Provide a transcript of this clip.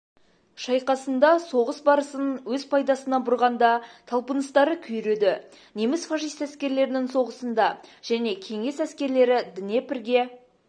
шайқасында соғыс барысын өз пайдасына бұрғанда талпыныстары күйреді неміс-фашист әскерлерінің соғысында және кеңес әскерлері днепрге